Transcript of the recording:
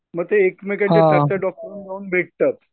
मग ते एकमेकांच्या डॉक्टरांना जाऊन भेटतात.